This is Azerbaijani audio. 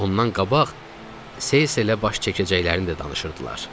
Amma ondan qabaq Seyselə baş çəkəcəklərini də danışırdılar.